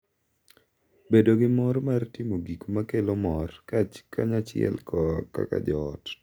Bedo gi mor mar timo gik ma kelo mor kanyachiel kaka joot,